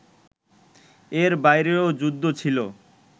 এর বাইরেও যুদ্ধ ছিল